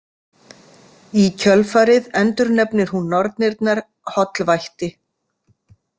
Í kjölfarið endurnefnir hún nornirnar hollvætti.